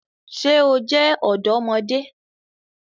Ṣe o jẹ ọdọmọde?